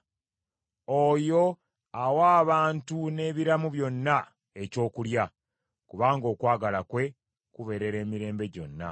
Oyo awa abantu n’ebiramu byonna ekyokulya, kubanga okwagala kwe kubeerera emirembe gyonna.